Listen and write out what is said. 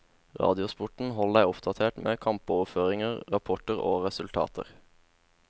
Radiosporten holder deg oppdatert, med kampoverføringer, rapporter og resultater.